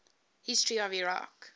history of iraq